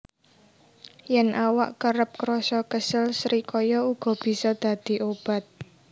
Yèn awak kerep krasa kesel srikaya uga bisa dadi obat